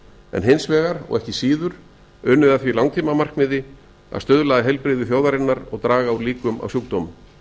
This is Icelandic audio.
en hins vegar og ekki síður unnið að því langtímamarkmiði að stuðla að heilbrigði þjóðarinnar og draga úr líkum á sjúkdómum